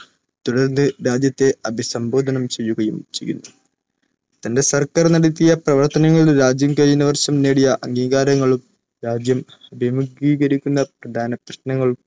തുടർന്ന് രാജ്യത്തെ അഭിസംബോധന ചെയ്യുകയും ചെയ്യുന്നു. തന്റെ സർക്കാർ നടത്തിയ പ്രവർത്തനങ്ങൾ രാജ്യം കഴിഞ്ഞവർഷം നേടീയ അംഗീകാരങ്ങളും, രാജ്യം അഭീമുഖീകരിക്കുന്ന പ്രധാനപ്രശ്നങ്ങൾ